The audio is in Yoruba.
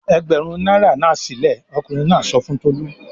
"Ẹgbẹ̀rún náírà náà sílẹ̀!" Ọkùnrin náà sọ fún Tolú.